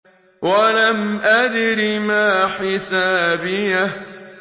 وَلَمْ أَدْرِ مَا حِسَابِيَهْ